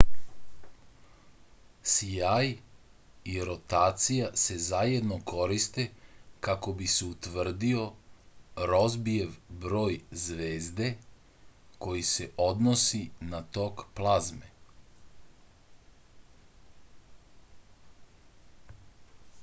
sjaj i rotacija se zajedno koriste kako bi se utvrdio rozbijev broj zvezde koji se odnosi na tok plazme